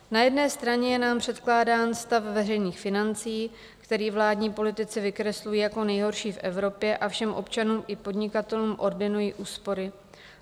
Na jedné straně je nám předkládán stav veřejných financí, který vládní politici vykreslují jako nejhorší v Evropě, a všem občanům i podnikatelům ordinují úspory.